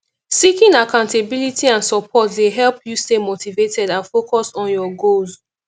seeking accountability and support dey help you stay motivated and focused on your goals